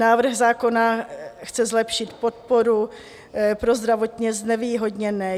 Návrh zákona chce zlepšit podporu pro zdravotně znevýhodněné.